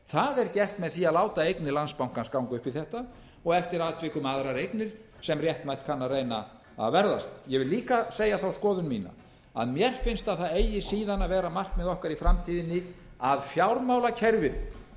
það er gert með því að láta eignir landsbankans ganga upp í þetta og eftir atvikum aðrar eignir sem réttmætt kann að reyna að ég vil líka segja þá skoðun mína að mér finnst að það eigi síðan að vera markmið okkar í framtíðinni að fjármálakerfið